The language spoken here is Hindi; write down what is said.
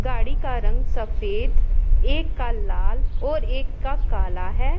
गाड़ी का रंग सफेद एक का लाल और एक का काला है।